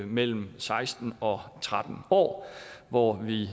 mellem seksten og tretten år og